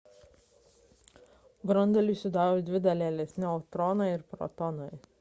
branduolį sudaro dvi dalelės – neutronai ir protonai